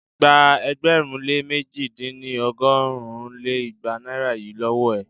Gba ẹgbẹ̀rún lé mẹ̀ji dín ní- ọgọ́rùn lé igba naira yìí lówó è!